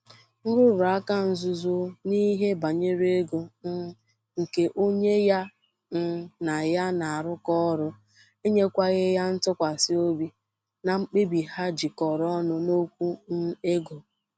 Nrụrụaka nzuzo n'ihe banyere ego um nke onye ya um nà ya na-arụkọ ọrụ enyekwaghị ya ntụkwasị obi na mkpebi ha jikọrọ ọnụ N'okwụ um ego.